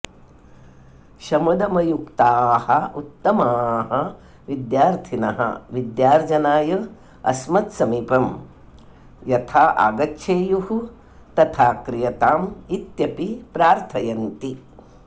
शमदमयुक्ताः उत्तमाः विद्यार्थिनः विद्यार्जनाय अस्मद्समीपं यथा आगच्छेयुः तथा क्रियताम् इत्यपि प्रार्थयन्ति